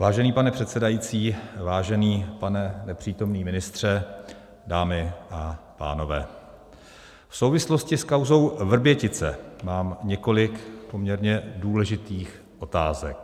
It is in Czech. Vážený pane předsedající, vážený pane nepřítomný ministře, dámy a pánové, v souvislosti s kauzou Vrbětice mám několik poměrně důležitých otázek.